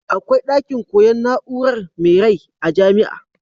Akwai dakin koyan na'urar me rai a jamia